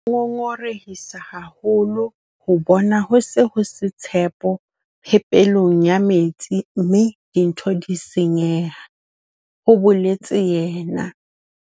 "Ho ngongorehisa haholo ho bona ho se ho se tshepo phepelong ya metsi mme dintho di senyeha " ho boletse yena.